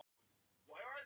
Eins og kenjóttur krakki